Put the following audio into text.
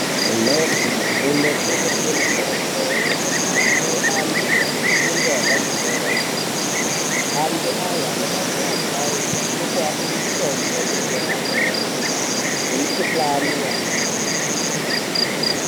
Kumhatso kunotengeswe mutombo kunoshande antu anefundo yepamusoro yepaderadera antu aya anobatsira asharukwa ngekuape mutombo unoenderane nemikhuhlani yaanenge anayo.